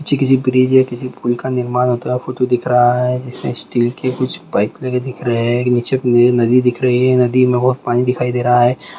ये किसी ब्रिज किसी पुल्ल का निर्माण होता हुआ फोटो दिख रहा है जिसमे स्टाल के कुछ पाइप लगे दिखरे है नीचे नदी दिख रही है नदी में भोत पानी दिखई दे रहा है ।